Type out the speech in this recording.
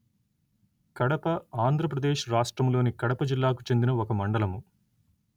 కడప ఆంధ్ర ప్రదేశ్ రాష్ట్రములోని కడప జిల్లాకు చెందిన ఒక మండలము